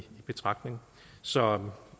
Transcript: betragtning så